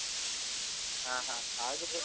ಹಾ ಹಾ ಹಾಗೆ .